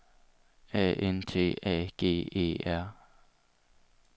A N T A G E R